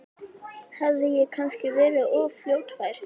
Hafði ég kannski verið of fljótfær?